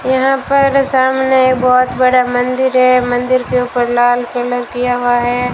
यहां पर सामने बहुत बड़ा मंदिर है। मंदिर के ऊपर लाल कलर किया हुआ है।